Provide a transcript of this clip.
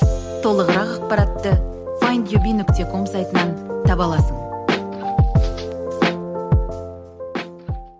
толығырақ ақпаратты файндюби нүкте ком сайтынан таба аласың